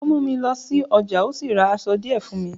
ó mú mi lọ sí ọjà, ó sì ra aṣọ díẹ̀ fùn mi